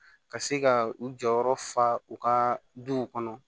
Ka se ka u jɔyɔrɔ fa fa u ka duw kɔnɔ